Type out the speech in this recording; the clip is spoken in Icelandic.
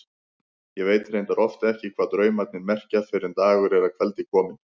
Ég veit reyndar oft ekki hvað draumarnir merkja fyrr en dagur er að kveldi kominn.